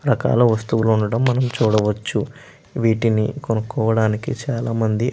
రకాల వస్తువులు ఉండటం మనం చూడవచ్చు. వీటిని కొనుక్కోవడానికి చాలా మంది --